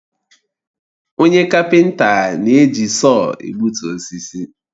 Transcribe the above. Onye kapenta na-eji sọọ egbutu osisi